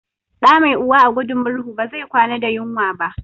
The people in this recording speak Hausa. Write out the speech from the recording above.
Ɗa mai uwa a gudin murhu ba zai kwana da yunwa ba